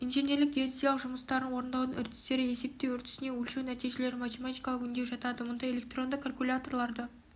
инженерлік геодезиялық жұмыстарын орындаудың үрдістері есептеу үрдісіне өлшеу нәтижелерін математикалық өңдеу жатады мұнда электронды калькуляторды